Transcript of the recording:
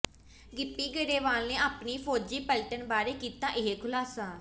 ਗਿੱਪੀ ਗਰੇਵਾਲ ਨੇ ਆਪਣੀ ਫੌਜੀ ਪਲਟਨ ਬਾਰੇ ਕੀਤਾ ਇਹ ਖੁਲਾਸਾ